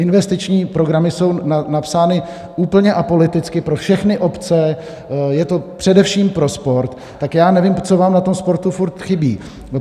Investiční programy jsou napsány úplně apoliticky pro všechny obce, je to především pro sport, tak já nevím, co vám na tom sportu furt chybí.